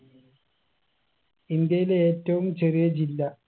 ഇന്ത്യയിലെ ഏറ്റവും ചെറിയ ജില്ല